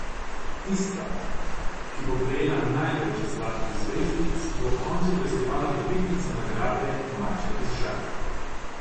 Tista, ki bo prejela največ zlatih zvezdic, bo ob koncu festivala dobitnica nagrade maček iz žaklja.